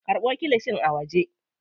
Karɓo kilishin a waje.